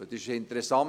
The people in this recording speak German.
Es ist interessant: